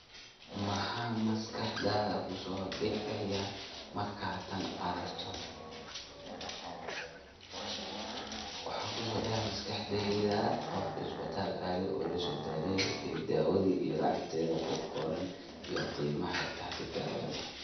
Waxa kusodacaya maskaxdeyda qof isbatal adee oo lasodaweye ee dawada iyo lacagteda kuqoran iyo qimaha tahdo dawada.